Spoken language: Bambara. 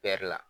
la